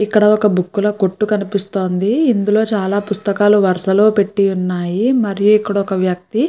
ఇక్కడ ఒక బుక్కు ల కొట్టు కనిపిస్తోంది ఇందులో చాలా పుస్తకాలు వరస లో పెట్టి ఉన్నాయి మరియు ఇక్కడ ఒక వ్యక్తి.